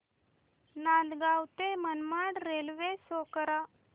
नांदगाव ते Manmad railway show करा